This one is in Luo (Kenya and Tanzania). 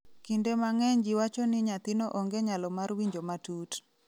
kinde mang'eny ji wacho ni nyathino onge nyalo mar winjo matut